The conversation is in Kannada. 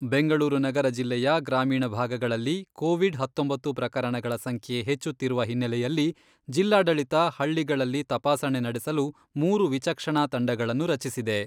ಬೆಂಗಳೂರು ನಗರ ಜಿಲ್ಲೆಯ ಗ್ರಾಮೀಣ ಭಾಗಗಳಲ್ಲಿ ಕೋವಿಡ್ ಹತ್ತೊಂಬತ್ತು ಪ್ರಕರಣಗಳ ಸಂಖ್ಯೆ ಹೆಚ್ಚುತ್ತಿರುವ ಹಿನ್ನೆಲೆಯಲ್ಲಿ ಜಿಲ್ಲಾಡಳಿತ ಹಳ್ಳಿಗಳಲ್ಲಿ ತಪಾಸಣೆ ನಡೆಸಲು ಮೂರು ವಿಚಕ್ಷಣಾ ತಂಡಗಳನ್ನು ರಚಿಸಿದೆ.